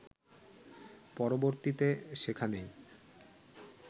পরবর্তীতে সেখানেই